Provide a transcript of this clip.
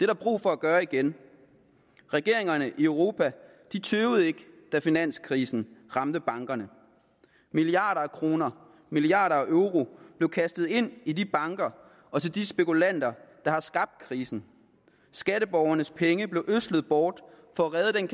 der brug for at gøre igen regeringerne i europa tøvede ikke da finanskrisen ramte bankerne milliarder af kroner milliarder af euro blev kastet ind i de banker og til de spekulanter der har skabt krisen skatteborgernes penge blev ødslet bort for at redde den